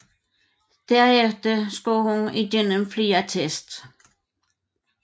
Derefter skulle hun igennem flere teste